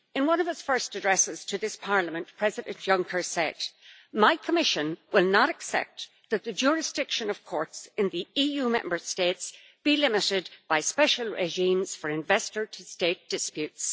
In one of his first addresses to this Parliament, President Juncker said My Commission will not accept that the jurisdiction of courts in the EU Member States be limited by special regimes for investor to state disputes'.